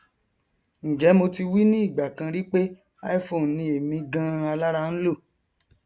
njẹ mo ti wí ní ìgbàkan rí pé iphone ni èmi ganan alára ń lò